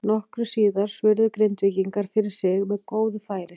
Nokkru síðar svöruðu Grindvíkingar fyrir sig með góðu færi.